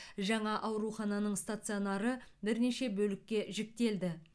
жаңа аурухананың стационары бірнеше бөлікке жіктелді